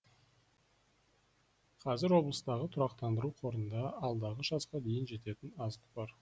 қазір облыстағы тұрақтандыру қорында алдағы жазға дейін жететін азық бар